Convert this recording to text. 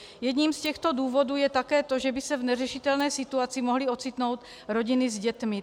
Jedním z těchto důvodů je také to, že by se v neřešitelné situace mohly ocitnout rodiny s dětmi.